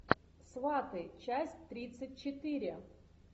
сваты часть тридцать четыре